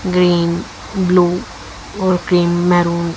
green blue और cream maroon --